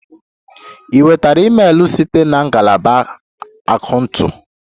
Ị nwetara email site na ngalaba akaụntụ?